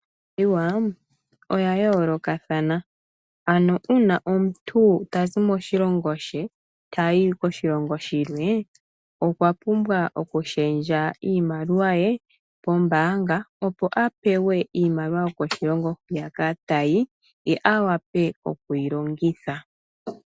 Iimaliwa oya yoolokathana. Aano uuna omuntu tazi moshilongo she, tayi koshilongo shilwe, okwa pumbwa okushendja iimaliwa ye pombaanga, opo apewe iimaliwa yokoshilongo hwiyaka tayi, ye awape okuyi longitha.